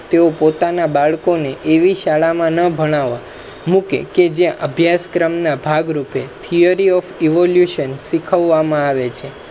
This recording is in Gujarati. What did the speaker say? તે ઓ પોતાના બાળકો ને એવી શાળામા ના ભણવા મુકે જ્યા અભ્યાસ ક્રમ ના ભાગરૂપે theory of evolution શીખવવા મા આવે છે